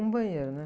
Um banheiro, né?